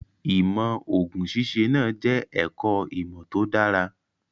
Ìmọ̀ òògùn ṣíṣe náà jẹ́ ẹ̀kọ́ ìmọ̀ tó dára.